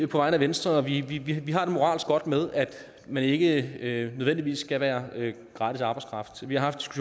på vegne af venstre at vi egentlig har det moralsk godt med at man ikke nødvendigvis skal være gratis arbejdskraft vi har haft